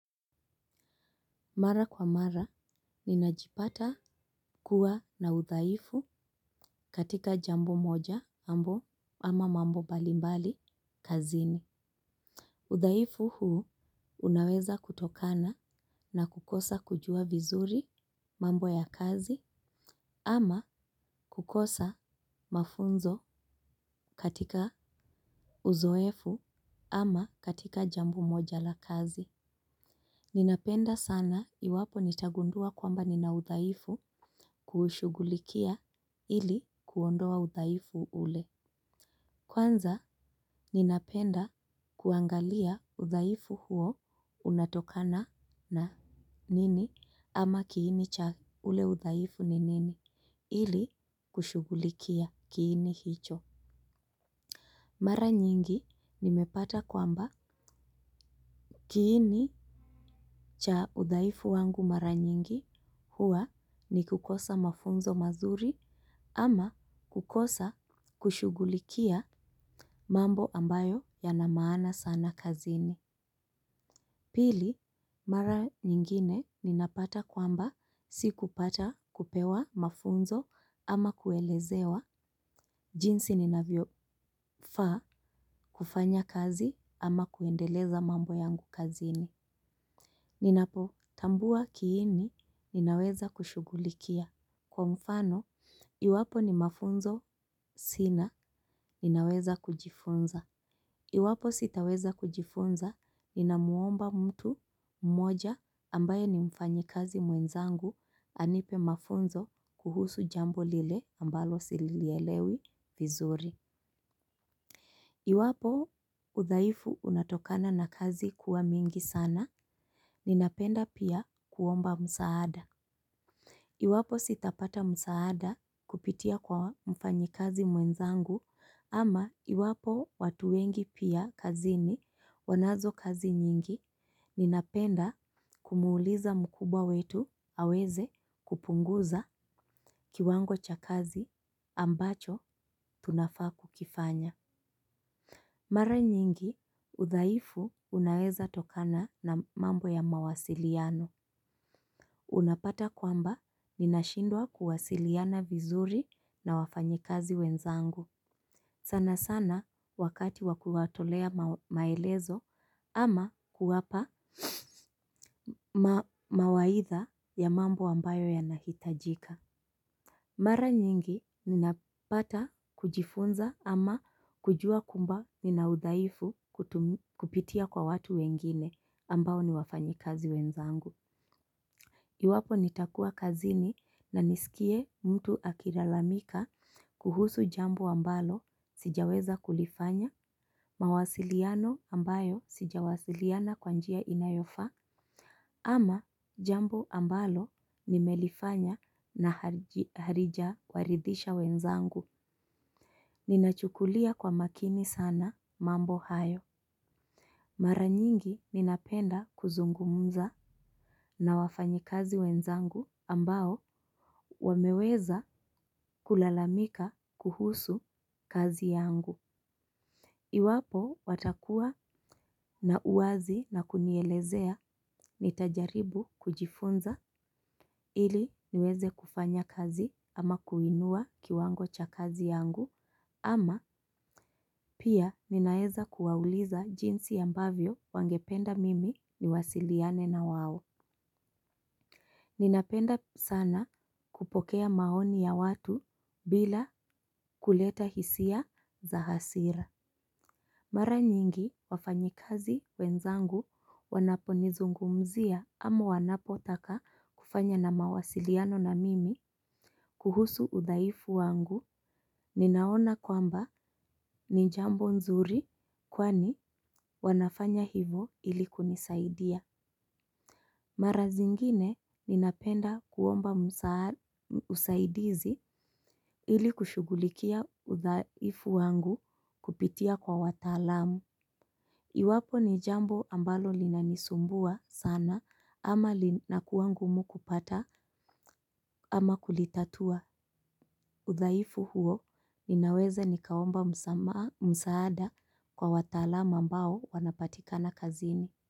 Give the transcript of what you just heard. Mara kwa mara, ninajipata kuwa na udhaifu katika jambo moja ama mambo mbalimbali kazini. Udhaifu huu unaweza kutokana na kukosa kujua vizuri mambo ya kazi ama kukosa mafunzo katika uzoefu ama katika jambo moja la kazi. Ninapenda sana iwapo nitagundua kwamba nina udhaifu kuushugulikia ili kuondoa udhaifu ule. Kwanza ninapenda kuangalia udhaifu huo unatokana na nini ama kiini cha ule udhaifu ni nini ili kushugulikia kiini hicho. Mara nyingi nimepata kwamba kiini cha udhaifu wangu mara nyingi huwa ni kukosa mafunzo mazuri ama kukosa kushugulikia mambo ambayo yana maana sana kazini. Pili mara nyingine ninapata kwamba sikupata kupewa mafunzo ama kuelezewa jinsi ninavyo faa kufanya kazi ama kuendeleza mambo yangu kazini. Ninapotambua kiini ninaweza kushugulikia. Kwa mfano iwapo ni mafunzo sina ninaweza kujifunza. Iwapo sitaweza kujifunza ni na muomba mtu mmoja ambaye ni mfanyikazi mwenzangu anipe mafunzo kuhusu jambo lile ambalo silielewi vizuri. Iwapo udhaifu unatokana na kazi kuwa mingi sana ninapenda pia kuomba msaada iwapo sitapata msaada kupitia kwa mfanyikazi mwenzangu ama iwapo watu wengi pia kazini wanazo kazi nyingi ninapenda kumuuliza mkubwa wetu aweze kupunguza kiwango cha kazi ambacho tunafaa kukifanya. Mara nyingi udhaifu unaweza tokana na mambo ya mawasiliano. Unapata kwamba ninashindwa kuwasiliana vizuri na wafanyikazi wenzangu. Sana sana wakati wa kuwatolea maelezo ama kuwapa mawaidha ya mambo ambayo yanahitajika. Mara nyingi ninapata kujifunza ama kujua kamba nina udhaifu kupitia kwa watu wengine ambao ni wafanyikazi wenzangu. Iwapo nitakua kazini na nisikie mtu akilalamika kuhusu jambo ambalo sijaweza kulifanya mawasiliano ambayo sijawasiliana kwa njia inayofaa. Ama jambo ambalo nimelifanya na halija waridhisha wenzangu. Ninachukulia kwa makini sana mambo hayo. Maranyingi ninapenda kuzungumza. Na wafanyi kazi wenzangu ambao wameweza kulalamika kuhusu kazi yangu. Iwapo watakua na uwazi na kunielezea nitajaribu kujifunza ili niweze kufanya kazi ama kuinua kiwango cha kazi yangu ama pia ninaeza kuwauliza jinsi ambavyo wangependa mimi niwasiliane na wao. Ninapenda sana kupokea maoni ya watu bila kuleta hisia za hasira. Mara nyingi wafanyikazi wenzangu wanaponizungumzia ama wanapotaka kufanya na mawasiliano na mimi. Kuhusu udhaifu wangu, ninaona kwamba ni jambo nzuri kwani wanafanya hivyo ilikunisaidia. Mara zingine ninapenda kuomba usaidizi ili kushughulikia udhaifu wangu kupitia kwa watalam. Iwapo ni jambo ambalo linanisumbua sana ama lina kuwa ngumu kupata ama kulitatua. Udhaifu huo ninaweza nikaomba msaada kwa watalamu ambao wanapatika na kazini.